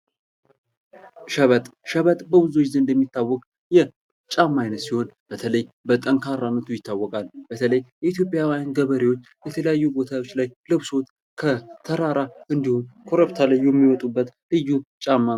ሸበጥ ። ሸበጥ በብዙዎች ዘንድ የሚታወቅ የጫማ አይነት ሲሆን በተለይ በጠንካራነቱ ይታወቃል በተለይ የኢትዮጵያውያን ገበሬዎች የተለያዩ ቦታዎች ላይ ለብሰውት ከተራራ እንዲሁም ኮረብታ ላይ የሚወጡበት ልዩ ጫማ ነው ።